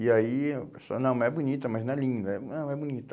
E aí eu não, é bonita, mas não é linda. Não, é bonita.